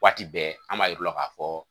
Waati bɛɛ an b'a yir'u la k'a fɔ